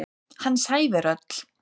Hans ævi er öll.